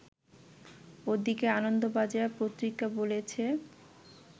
ওদিকে আনন্দবাজার পত্রিকা বলেছে